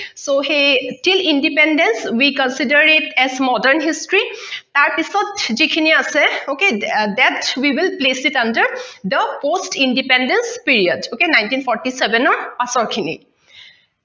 so সেই independent we consider it as modern history তাৰ পিছত যিখিনি আছে okay that's well place to count the post independence period ok nineteen forty seven ৰ পাছৰখিনি